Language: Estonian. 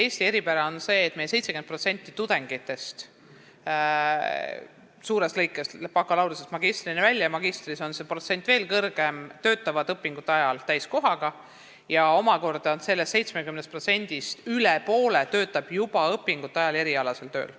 Eesti eripära on see, et meil 70% tudengitest – suures plaanis bakalaureuseõppest magistriõppeni välja, magistrantuuris on see protsent veelgi kõrgem – töötavad õpingute ajal täiskohaga ja sellest 70%-st omakorda üle poole on juba õpingute ajal erialasel tööl.